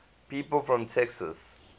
people from texas